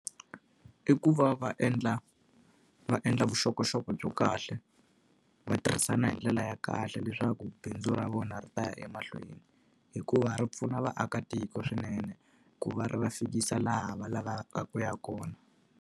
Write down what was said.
I ku va va endla va endla vuxokoxoko bya kahle, va tirhisana hi ndlela ya kahle leswaku bindzu ra vona ri ta ya emahlweni hikuva ri pfuna vaakatiko swinene, ku va ri va fikisa laha va lavaka ku ya kona.